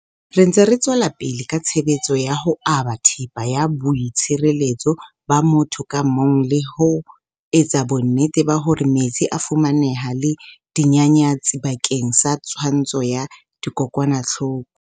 Re ntse re tswela pele ka tshebetso ya ho aba thepa ya boi tshireletso ba motho ka mong le ho etsa bonnete ba hore metsi a a fumaneha le dinyanyatsi bakeng sa twantsho ya dikokwanahloko.